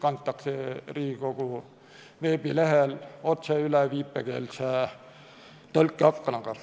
kantakse Riigikogu veebilehel otse üle viipekeeletõlke aknaga.